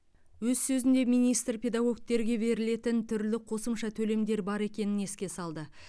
өз сөзінде министр педагогтерге берілетін түрлі қосымша төлемдер бар екенін еске салды